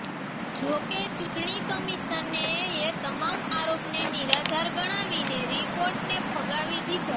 જો કે ચૂંટણી કમિશને એ તમામ આરોપને નિરાધાર ગણાવીને રિપોર્ટને ફગાવી દીધા